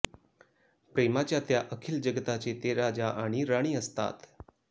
प्रेमाच्या त्या अखिल जगताचे ते राजा आणि राणी असतात